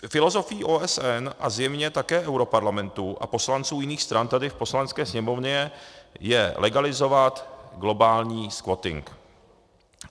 Filozofií OSN a zjevně také europarlamentu a poslanců jiných stran tady v Poslanecké sněmovně je legalizovat globální squatting.